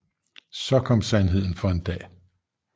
Så kom sandheden for en dag